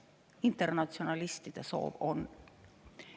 Internatsionalistide soov on.